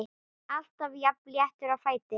Alltaf jafn léttur á fæti.